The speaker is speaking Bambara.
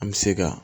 An bɛ se ka